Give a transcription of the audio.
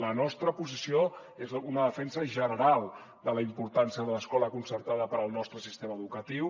la nostra posició és una defensa general de la importància de l’escola concertada per al nostre sistema educatiu